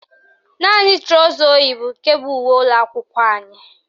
Naanị trọsa o yi bụ nke bụ uwe ụlọakwụkwọ anyị